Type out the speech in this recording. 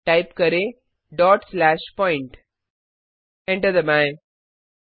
type करें dot slash point enter दबाएँ